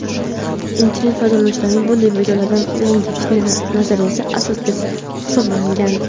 Internet foydalanuvchilari bunday videolarni yangi fitna nazariyasiga asos deb hisoblagan.